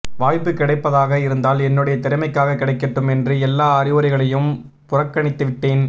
வாய்ப்பு கிடைப்பதாக இருந்தால் என்னுடைய திறமைக்காக கிடைக்கட்டும் என்று எல்லா அறிவுரைகளையும் புறக்கணித்துவிட்டேன்